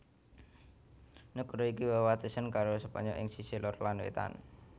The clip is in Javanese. Nagara iki wewatesan karo Spanyol ing sisih lor lan wétan